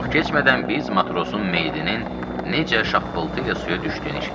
Çox keçmədən biz matrosun meyidinin necə şappıltı ilə suya düşdüyünü eşitdik.